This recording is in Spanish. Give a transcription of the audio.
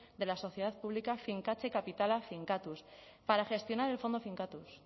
de la sociedad pública finkatze kapitala finkatuz para gestionar el fondo finkatuz